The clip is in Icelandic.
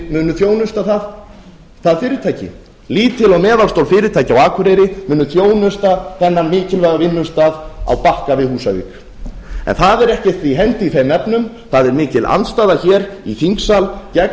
munu þjónusta það fyrirtæki lítil og meðalstór fyrirtæki á akureyri munu þjónusta þennan mikilvæga vinnustað á bakka við húsavík en það er ekkert í hendi í þeim efnum það er mikil andstaða hér í þingsal gegn